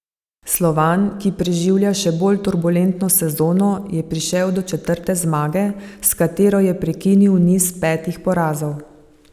Slovan, ki preživlja še bolj turbulentno sezono, je prišel do četrte zmage, s katero je prekinil niz petih porazov.